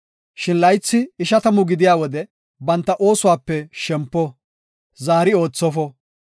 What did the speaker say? Shin laythi ishatamu gidiya wode banta oosuwape shempo; zaari oothofo.